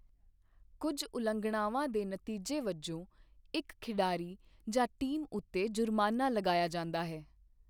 ਕੁੱਝ ਉਲੰਘਣਾਵਾਂ ਦੇ ਨਤੀਜੇ ਵਜੋਂ ਇੱਕ ਖਿਡਾਰੀ ਜਾਂ ਟੀਮ ਉੱਤੇ ਜੁਰਮਾਨਾ ਲਗਾਇਆ ਜਾਂਦਾ ਹੈ।